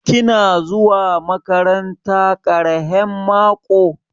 Kina zuwa maƙaranta ƙarahen maƙo?